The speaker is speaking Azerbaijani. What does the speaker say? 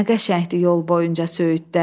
Nə qəşəngdir yol boyunca söyüdlər.